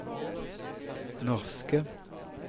norske